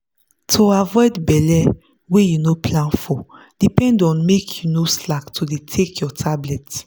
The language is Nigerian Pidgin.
to avoid belle wey you no plan for depend on make you no slack to dey take your tablet.